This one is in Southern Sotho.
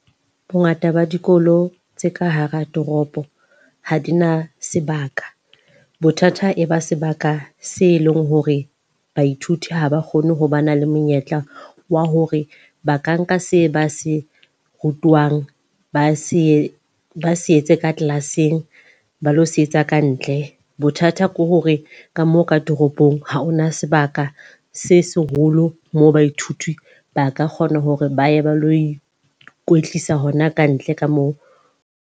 Bo ngata ba dikolo tse ka hara toropo ha di na sebaka. Bothata e ba sebaka se leng hore baithuti ha ba kgone ho ba na le monyetla wa hore ba ka nka se ba se rutwang, ba se ba se etse ka class-eng ba lo se etsa ka ntle. Bothata ke hore ka moo ka toropong ha hona sebaka se seholo moo baithuti ba ka kgona hore ba ye ba lo ikwetlisa hona ka ntle ka moo.